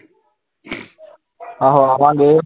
ਆਹੋ ਆਵਾਂਗੇ